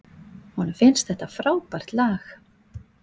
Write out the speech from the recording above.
Honum finnst þetta frábært lag.